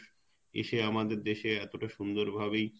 এসে আমাদের দেশে এতটা সুন্দর ভাবেই,